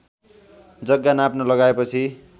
जग्गा नाप्न लगाएपछि